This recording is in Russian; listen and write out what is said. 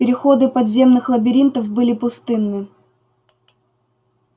переходы подземных лабиринтов были пустынны